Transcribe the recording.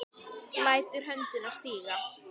Lætur höndina síga.